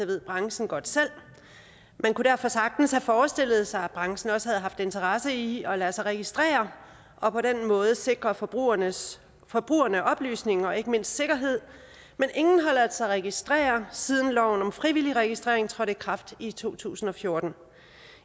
ved branchen godt selv og man kunne derfor sagtens have forestillet sig at branchen også havde haft interesse i at lade sig registrere og på den måde sikre forbrugerne forbrugerne oplysning og ikke mindst sikkerhed men ingen har ladet sig registrere siden loven om frivillig registrering trådte i kraft i to tusind og fjorten